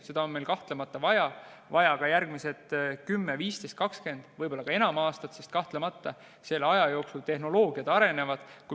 Meil on seda kahtlemata vaja ka järgmised 10, 15, 20, võib-olla ka enam aastat, sest kahtlemata selle aja jooksul tehnoloogiad arenevad.